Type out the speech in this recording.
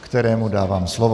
kterému dávám slovo.